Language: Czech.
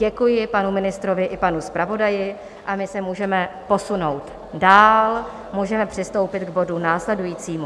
Děkuji panu ministrovi i panu zpravodaji a my se můžeme posunout dál, můžeme přistoupit k bodu následujícímu.